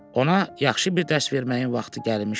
Ona yaxşı bir dərs verməyin vaxtı gəlmişdi.